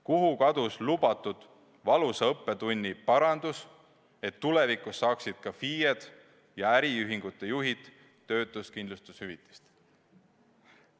Kuhu kadus lubatud valusa õppetunni parandus, et tulevikus saaksid ka FIE-d ja äriühingute juhid töötuskindlustushüvitist?